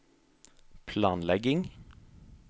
planlegging